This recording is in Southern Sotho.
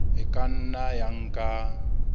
e ka nna ya nka